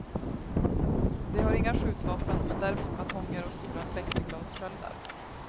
De har inga skjutvapen, men däremot batonger och stora plexiglassköldar.